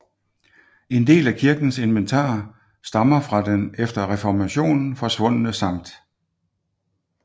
En del af kirkens inventar stammer fra den efter reformationen forsvundne Sct